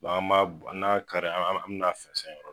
an b'a n'an y'a kari an an bɛ na fɛnzɛn